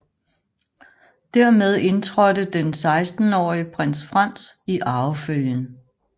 Dermed indtrådte den sekstenårige prins Franz i arvefølgen